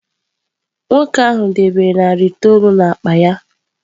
Nwoke ahụ debere narị itoolu n’akpa ya.